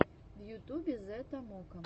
в ютубе зэ томоко